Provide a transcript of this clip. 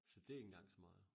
Så det ikke engang så meget